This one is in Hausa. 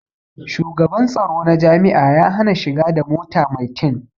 Shugaban tsoro na jami'a ya hana shiga da mota mai tin